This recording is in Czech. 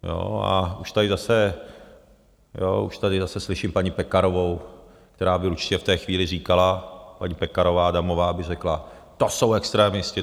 A už tady zase slyším paní Pekarovou, která by určitě v té chvíli říkala, paní Pekarová Adamová by řekla: to jsou extremisté.